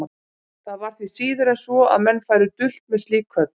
Það var því síður en svo, að menn færu dult með slík köll.